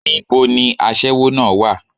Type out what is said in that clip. Ní bo ni aṣẹ́wó náà á wà?